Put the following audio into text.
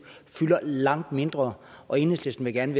fylder langt mindre og enhedslisten gerne